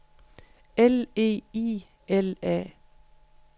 L E I L A